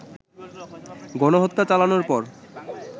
গণহত্যা চালানোর পর